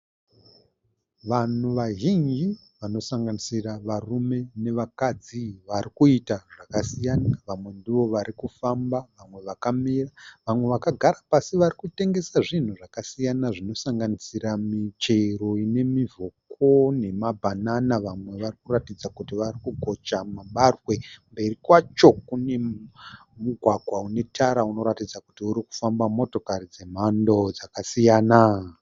Vanhu vazhinji vanosanganisira varume navakadzi vari kuita zvakasiyana. Vamwe ndivo vari kufamba, vamwe vakamira, vamwe vakagara pasi vari kutengesa zvinhu zvakasiyana zvinosanganisira michero ine mivhoko nemabhanana. Vamwe vari kuratidza kuti vari kugocha mabagwe. Mberi kwacho kune mugwagwa une tara unoratidza kuti uri kufamba motokari dzemhando dzakasiyana.